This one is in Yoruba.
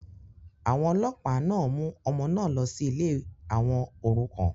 àwọn ọlọ́ọ̀pá náà mú ọmọ náà lọ sí ilé àwọn òrukàn